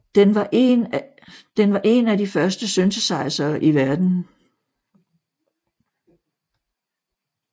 Den var én af de første synthesizere i verdenen